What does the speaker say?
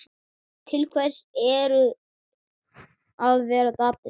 Til hvers að vera dapur?